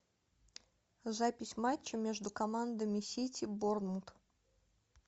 запись матча между командами сити борнмут